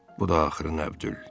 Bu da axırı Nəbdül.